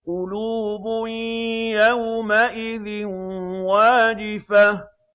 قُلُوبٌ يَوْمَئِذٍ وَاجِفَةٌ